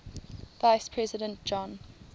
vice president john